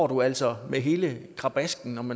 du altså med hele krabasken om